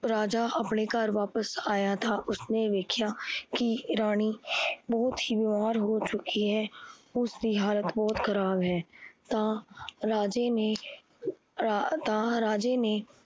ਰਾਜਾ ਆਪਣੇ ਘਰ ਵਾਪਿਸ ਆਇਆ ਤਾਂ ਉਸਨੇ ਵੇਖਿਆ ਕੀ ਰਾਣੀ ਬਹੁਤ ਬਿਮਾਰ ਹੋ ਚੁੱਕੀ ਹੈ। ਉਸ ਦੀ ਹਾਲਤ ਬਹੁਤ ਖਰਾਬ ਹੈ ਤਾਂ ਰਾਜੇ ਨੇ ਆਹ ਤਾਂ ਰਾਜੇ ਨੇ